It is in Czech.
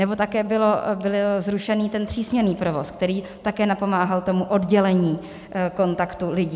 Nebo také byl zrušen ten třísměnný provoz, který také napomáhal tomu oddělení kontaktu lidí.